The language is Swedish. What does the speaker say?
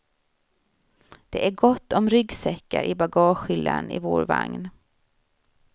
Det är gott om ryggsäckar i bagagehyllan i vår vagn.